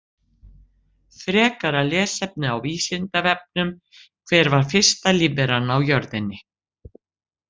Frekara lesefni á Vísindavefnum: Hver var fyrsta lífveran á jörðinni?